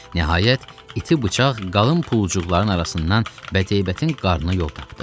Nəhayət, iti bıçaq qalın pulcuqların arasından bədheybətin qarnına yol tapdı.